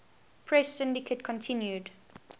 press syndicate continued